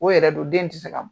O yɛrɛ dun den tɛ se ka bɔ!